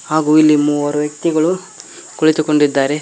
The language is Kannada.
ಹಾಗೂ ಇಲ್ಲಿ ಮೂವರು ವ್ಯಕ್ತಿಗಳು ಕುಳಿತುಕೊಂಡಿದ್ದಾರೆ.